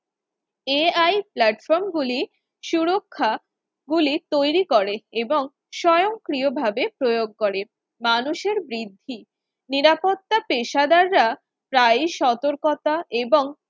ai platform গুলির সুরক্ষা গুলি তৈরি করে এবং স্বয়ংক্রিয়ভাবে প্রয়োগ করে মানুষের বৃদ্ধি নিরাপত্তা পেশাদাররা প্রায় সতর্কতা এবং